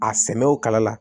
A sɛnɛw kala la